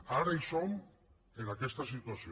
ara som en aquesta situació